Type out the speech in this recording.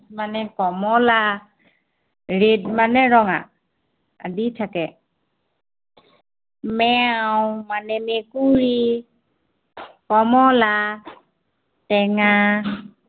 মানে কমলা। red মানে ৰঙা, আদি থাকে। মেও মানে মেকুৰী কমলা টেঙা